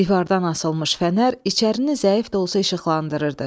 Divardan asılmış fənər içərini zəif də olsa işıqlandırırdı.